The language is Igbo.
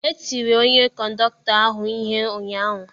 E tiri onye kọndọkụtọ ahụ ihe ụnyahụ.